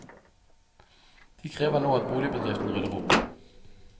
De krever nå at boligbedriften rydder opp.